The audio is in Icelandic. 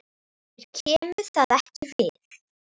Þér kemur það ekki við.